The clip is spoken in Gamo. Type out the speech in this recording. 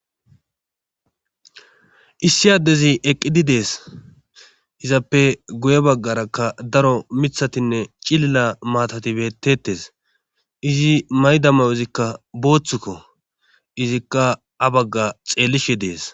issi addezi eqqidi dees izappe goye baggarakka daro mithatinne cilila maatati bettettes izi maydamayo izikka booththukko izikka a bagga xeellishi dees